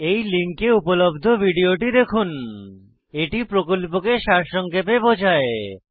এই লিঙ্কে উপলব্ধ ভিডিওটি দেখুন httpspoken tutorialorgWhat is a Spoken tutorial এটি প্রকল্পকে সারসংক্ষেপে বোঝায়